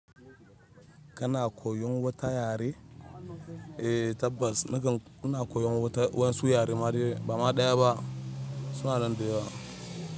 Kana koyon wata yare? Eh tabbas nakan ina koyon wasu yare ma dai ba ma ɗaya ba suna nan da yawa.